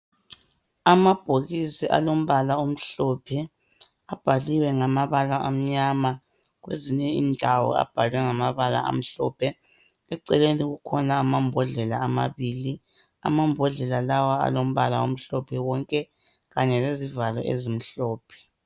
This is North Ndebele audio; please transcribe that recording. Amabhokisi alombala omhlophe, abhaliwe ngamabala amnyama, kwezinye indawo abhalwe ngamabala amhlophe, eceleni kukhona amambhodlela amabili, amambhodlela lawo alombala omhlophe wonke, kanye lezivalo ezimhlophe.